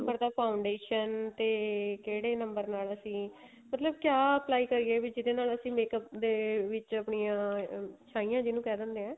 number ਦਾ foundation ਤੇ ਕਿਹੜੇ number ਨਾਲ ਅਸੀਂ ਮਤਲਬ ਕਿਆ apply ਕਰੀਏ ਵੀ ਜਿਹਦੇ ਨਾਲ ਅਸੀਂ makeup ਦੇ ਵਿੱਚ ਅਪਣਿਆ ਸ਼ਾਈਆਂ ਜਿਹਨੂੰ ਕਹਿ ਦਿੰਨੇ ਆ